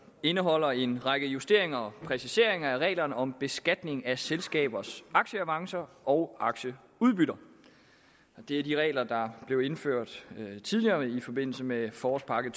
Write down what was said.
indeholder en række justeringer og præciseringer af reglerne om beskatning af selskabers aktieavancer og aktieudbytter det er de regler der blev indført tidligere i forbindelse med forårspakke